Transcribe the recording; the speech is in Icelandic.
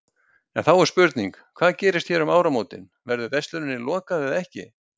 En þá er spurning, hvað gerist hér um áramótin, verður versluninni lokað eða ekki?